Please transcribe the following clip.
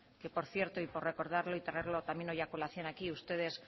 que por cierto y por recordarlo y traerlo también hoy a colación aquí ustedes